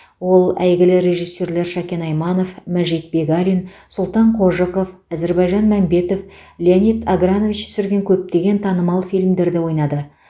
ол әйгілі режиссерлер шәкен айманов мәжит бегалин сұлтан қожықов әзірбайжан мәмбетов леонид агранович түсірген көптеген танымал фильмдерде ойнады